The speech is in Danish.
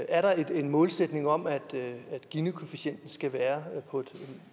er der en målsætning om at ginikoefficienten skal være på et